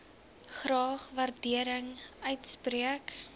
graag waardering uitspreek